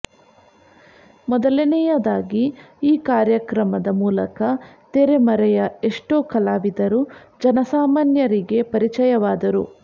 ಮೊದಲನೆಯದಾಗಿ ಈ ಕಾರ್ಯಕ್ರಮದ ಮೂಲಕ ತೆರೆ ಮರೆಯ ಎಷ್ಟೋ ಕಲಾವಿದರು ಜನಸಾಮಾನ್ಯರಿಗೆ ಪರಿಚಯವಾದರು